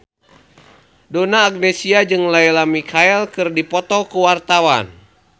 Donna Agnesia jeung Lea Michele keur dipoto ku wartawan